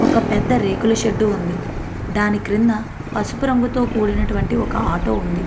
ఒక పెద్ద రేకులు షెడ్ ఉంది. దాని క్రింద పసుపు రంగుతో కూడినటువంటి ఒక ఆటో ఉంది .